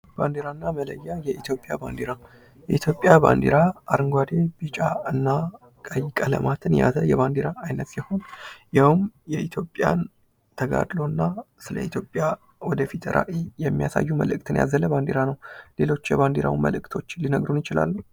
ባንዴራና መለያ ፦ የኢትዮጵያ ባንዴራ ፦ የኢትዮጵያ ባንዲራ አረንጓዴ ፣ ቢጫ እና ቀይ ቀለማትን የያዘ የባንዲራ ዓይነት ሲሆን ያውም የኢትዮጵያን ተጋድሎና ስለ ኢትዮጵያ ወደፊት ራዕይ የሚያሳዩ መልዕክትን ያዘለ ባንዲራ ነው ። ሌሎች የባንዲራውን መልዕክቶች ሊነግሩን ይችላሉ ?